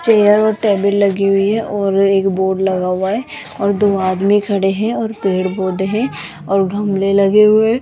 Chair और table लगी हुई है और एक बोर्ड लगा हुआ है और दो आदमी खड़े हैं और पेड़ पौधे हैं और गमले लगे हुए है।